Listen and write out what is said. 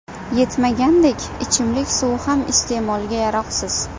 Yetmagandek, ichimlik suvi ham iste’molga yaroqsiz.